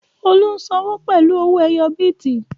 Olú ń sọ́wọ́ pẹ̀lú owó ẹyọ bìtì